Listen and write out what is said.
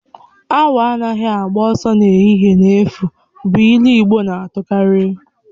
Awu anaghị agba ọsọ n'ehihie n'efu bụ ilu igbo na-atukarị